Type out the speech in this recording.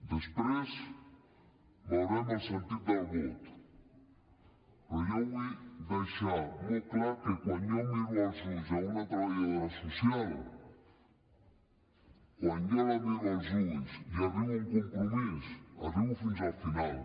després veurem el sentit del vot però jo vull deixar molt clar que quan jo miro als ulls una treballadora social quan jo la miro als ulls i hi arribo a un compromís hi arribo fins al final